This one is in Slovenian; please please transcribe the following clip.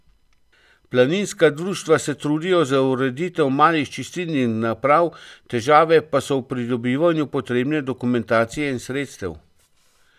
Planinska društva se trudijo za ureditev malih čistilnih naprav, težave pa so v pridobivanju potrebne dokumentacije in sredstev.